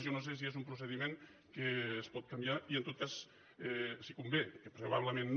jo no sé si és un procediment que es pot canviar i en tot cas si convé que probablement no